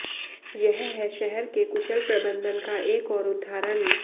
यह है शहर के कुशल प्रबन्धन का एक और उदहारण